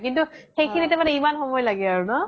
কিন্তু সেইখিনিতে ইমান সময় লাগে আৰু ন